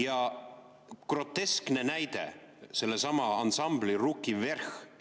Ja groteskne näide, sellesama ansambli Ruki Vverh!